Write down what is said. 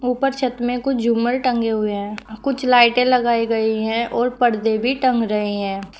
ऊपर छत में कुछ झूमर टंगे हुए हैं कुछ लाइटें लगाई गई है और पर्दे भी टंग रहे हैं।